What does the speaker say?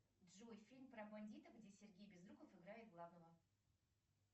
джой фильм про бандитов где сергей безруков играет главного